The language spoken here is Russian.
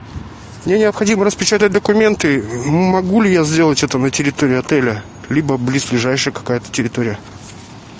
мне необходимо распечатать документы могу ли я сделать это на территории отеля либо близлежащая какая то территория